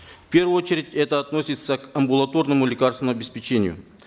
в первую очередь это относится к амбулаторному лекарственному обеспечению